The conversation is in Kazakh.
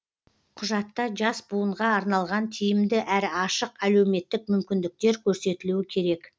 құжатта жас буынға арналған тиімді әрі ашық әлеуметтік мүмкіндіктер көрсетілуі керек